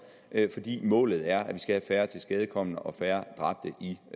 målet er at vi skal have færre tilskadekomne og færre dræbte